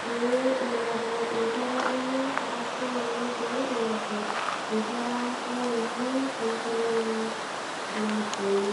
pee einepu inkera enye ashu, ninye pee einepu inkera ainei too nkolong'i naapuonu.